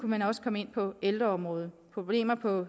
man også komme ind på ældreområdet problemer på